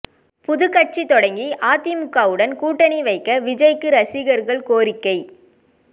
புதுக் கட்சி தொடங்கி அதிமுகவுடன் கூட்டணி வைக்க விஜய்க்கு ரசிகர்கள் கோரிக்கை